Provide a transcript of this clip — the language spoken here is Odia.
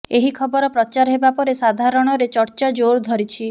ଏହି ଖବର ପ୍ରଚାର ହେବା ପରେ ସାଧାରଣରେ ଚର୍ଚ୍ଚା ଜୋର ଧରିଛି